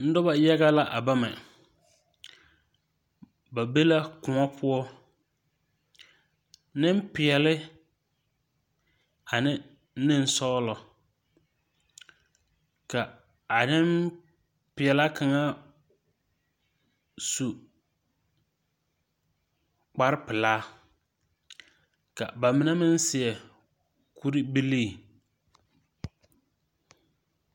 Nuba yaga la a bame ba be la kuon pou ninpɛɛle ane ninsɔɔlo ka a ninpɛɛlaa kanga su kpare pelaa ka ba mene meng seɛ kuri bilii.